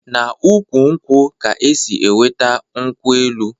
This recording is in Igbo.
Na ukwu nkwu ka e si -enweta nkwu-elu